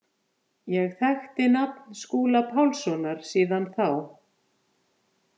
Ég þekkti nafn Skúla Pálssonar síðan þá.